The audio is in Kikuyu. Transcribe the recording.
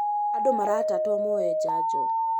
Andũ maratatwo moe janjo